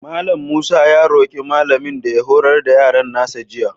Mallam Musa ya roƙi malamin da ya horar da yaron nasa jiya.